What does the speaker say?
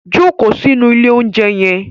Jókòó sínú ilé-oúnjẹ yẹn